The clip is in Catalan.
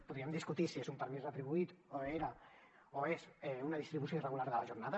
podríem discutir si és un permís retribuït o era o és una distribució irregular de la jornada